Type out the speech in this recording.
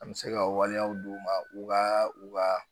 An bɛ se ka waliyaw d'u ma u ka u ka